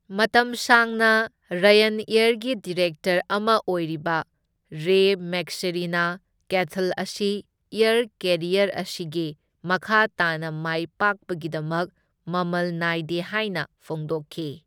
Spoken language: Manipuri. ꯃꯇꯝ ꯁꯥꯡꯅ ꯔꯥꯌꯟꯑꯦꯌꯔꯒꯤ ꯗꯤꯔꯦꯛꯇꯔ ꯑꯃ ꯑꯣꯏꯔꯤꯕ ꯔꯦ ꯃꯦꯛꯁꯦꯔꯤꯅ ꯀꯦꯊꯜ ꯑꯁꯤ ꯑꯦꯌꯔ ꯀꯦꯔꯤꯌꯔ ꯑꯁꯤꯒꯤ ꯃꯈꯥ ꯇꯥꯅ ꯃꯥꯏ ꯄꯥꯛꯄꯒꯤꯗꯃꯛ ꯃꯃꯜ ꯅꯥꯏꯗꯦ ꯍꯥꯏꯅ ꯐꯣꯡꯗꯣꯛꯈꯤ꯫